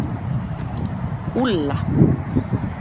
Úlla